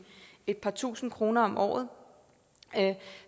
et par tusind kroner om året